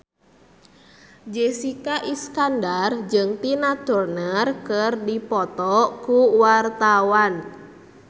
Jessica Iskandar jeung Tina Turner keur dipoto ku wartawan